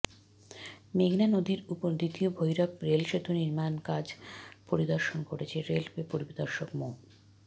মেঘনা নদীর ওপর দ্বিতীয় ভৈরব রেলসেতু নির্মাণকাজ পরিদর্শন করেছে রেলওয়ে পরিদর্শক মো